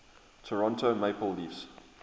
toronto maple leafs